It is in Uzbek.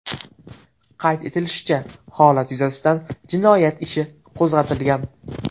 Qayd etilishicha, holat yuzasidan jinoyat ishi qo‘zg‘atilgan.